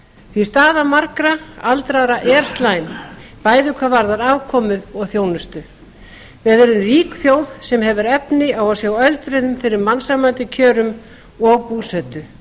því að staða margra aldraðra er slæm bæði hvað varðar afkomu og þjónustu við erum rík þjóð sem hefur efni á að sjá öldruðum fyrir mannsæmandi kjörum og búsetu